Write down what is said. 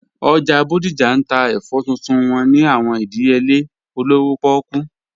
Ojá Bodija n tà èfọ̀ tuntun wọn ni àwọn ìdíyèlè òlówó pọ̀kú